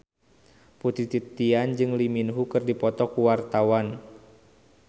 Putri Titian jeung Lee Min Ho keur dipoto ku wartawan